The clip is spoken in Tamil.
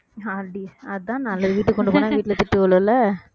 வீட்டுக்கு கொண்டு போனா வீட்ல திட்டு விழும்ல